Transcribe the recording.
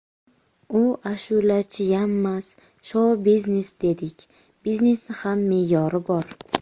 U ashulachiyammas, shou - biznes dedik, biznesni ham me’yori bor.